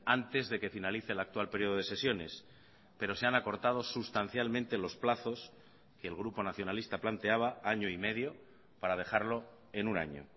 antes de que finalice el actual periodo de sesiones pero se han acortado sustancialmente los plazos que el grupo nacionalista planteaba año y medio para dejarlo en un año